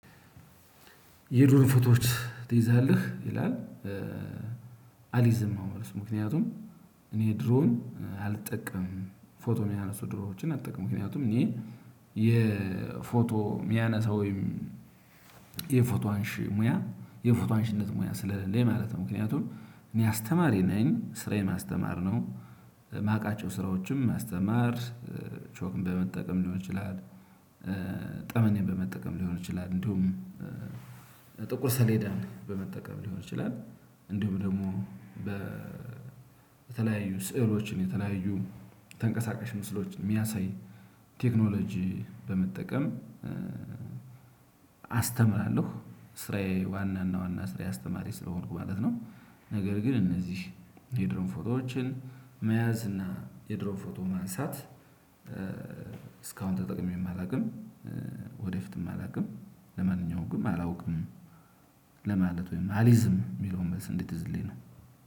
የድሮን ፎቶዎች ትይዛለህ ይላል አሊዝም ነው መልሱ ምክንያቱም እኔ ድሮን አልጠቀምም ፎቶ የሚያነሱ ድሮኖችን አልጠቀምም ምክንያቱም እኔ የፎቶ የሚያነሳው ወይም የፎቶ አንሺ ሙያ የፎቶ አንሺነት ሙያ ስለለኝ ማለት ነው ምክንያቱም እኔ አስተማሪ ነኝ ስራዬን ማስተማር ነው። የማውቃቸው ስራዎችም ማስተማር ቾክን በመጠቀም ሊሆን ይችላል ጠመኔን በመጠቀም ሊሆን ይችላል እንዲሁም ጥቁር ሰሌዳ በመጠቀም ሊሆን ይችላል እንደውም ደግሞ በተለያዩ ስዕሎችን የተለያዩ ተንቀሳቃሽ ምስሎችን የሚያሳይ ቴክኖሎጂ በመጠቀም አስተምራለሁ ስራዬ ዋናና ዋና ስራዬ አስተማሪ ስለሆንኩ ማለት ነው። ነገር ግን እነዚህ የድሮን ፎቶዎችን መያዝ እና የድሮን ፎቶ ማንሳት እስካሁን ተጠቅሜ አላውቅም። ወደፊትም አላውቅም ለማንኛውም አላውቅም ለማለት ወይም አሊዝም የሚለውን መልስ እንዴትይዝልኝ ነው።